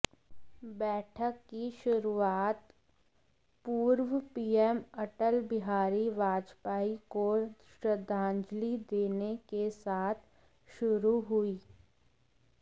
बैठक की शुरुआत पूर्व पीएम अटल बिहारी वाजपेयी को श्रद्धांजलि देने के साथ शुरू हुई